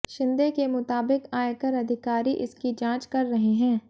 शिंदे के मुताबिक आयकर अधिकारी इसकी जांच कर रहे हैं